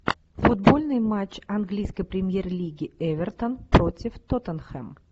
футбольный матч английской премьер лиги эвертон против тоттенхэм